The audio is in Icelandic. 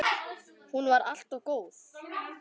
Hún var alltaf góð.